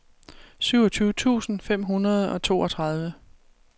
syvogtyve tusind fem hundrede og toogtredive